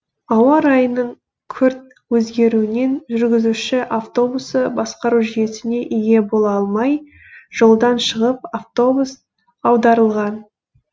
ауа райының күрт өзгеруінен жүргізуші автобусты басқару жүйесіне ие бола алмай жолдан шығып автобус аударылған